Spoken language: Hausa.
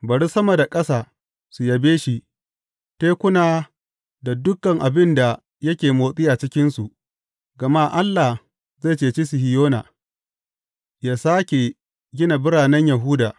Bari sama da ƙasa su yabe shi, tekuna da dukan abin da yake motsi a cikinsu, gama Allah zai cece Sihiyona yă sāke gina biranen Yahuda.